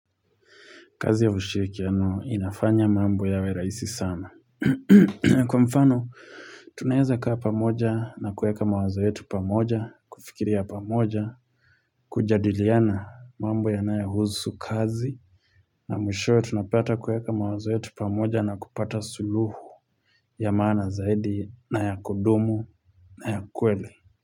Kazi ya ushirikiano inafanya mambo yawe raisi sana. Kwa mfano, tunaweza kaa pamoja na kueka mawazo yetu pamoja, kufikiria pamoja, kujadiliana mambo yanayo husu kazi. Na mwisho ya tunapata kuweka mawazo yetu pamoja na kupata suluhu ya maana zaidi na ya kudumu na ya kwele.